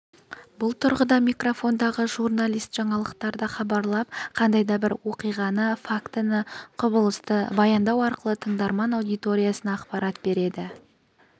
бұл тұрғыда микрофондағы журналист жаңалықтарды хабарлап қандай да бір оқиғаны фактіні құбылысты баяндау арқылы тыңдарман аудиториясына ақпарат береді